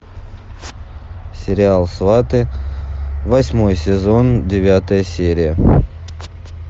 сериал сваты восьмой сезон девятая серия